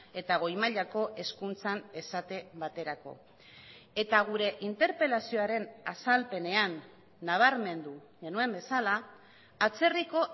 eta goi mailako hezkuntzan esate baterako eta gure interpelazioaren azalpenean nabarmendu genuen bezala atzerriko